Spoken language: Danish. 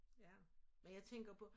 Ja men jeg tænker på